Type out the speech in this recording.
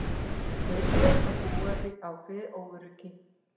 Nauðsynlegt að búa við ákveðið óöryggi